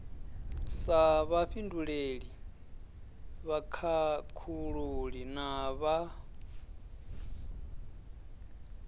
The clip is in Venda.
sa vhafhinduleli vhakhakhululi na vhad